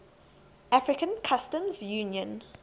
african customs union